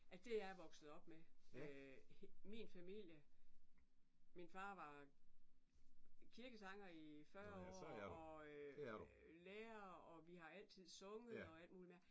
Ja det er jeg vokset op med. Min familie min far var kirkesanger i 40 år og og lærer og vi har altid sunget og alt muligt mærkeligt